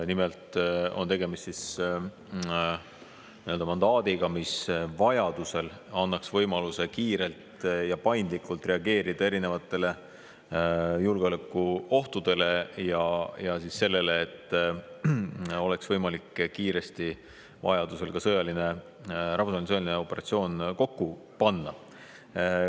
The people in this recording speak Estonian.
Nimelt on tegemist mandaadiga, mis vajaduse korral annaks võimaluse kiirelt ja paindlikult reageerida erinevatele julgeolekuohtudele ja et oleks võimalik kiiresti vajaduse korral ka rahvusvaheline operatsioon kokku panna.